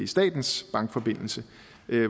statens bankforbindelse